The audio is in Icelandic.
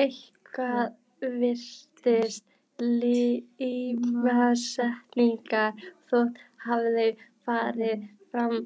Eitthvað virtist tímasetningin þó hafa farið